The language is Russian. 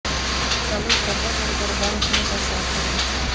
салют работа в сбербанке инкассатором